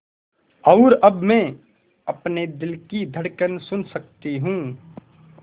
और अब मैं अपने दिल की धड़कन सुन सकती हूँ